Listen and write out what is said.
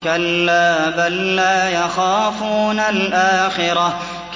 كَلَّا ۖ بَل لَّا يَخَافُونَ الْآخِرَةَ